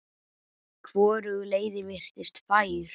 Hvorug leiðin virtist fær.